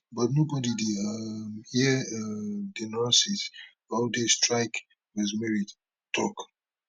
but nobody dey um hia um di nurses all dey strike rosemary tok